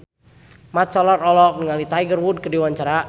Mat Solar olohok ningali Tiger Wood keur diwawancara